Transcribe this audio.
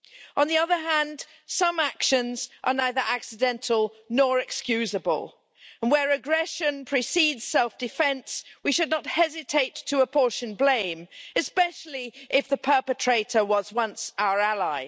On the other hand, some actions are neither accidental nor excusable, and where aggression precedes self defence we should not hesitate to apportion blame, especially if the perpetrator was once our ally.